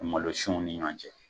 Malosunw ni ɲɔgɔn cɛ.